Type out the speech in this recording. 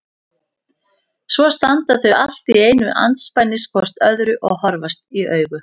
Svo standa þau allt í einu andspænis hvort öðru og horfast í augu.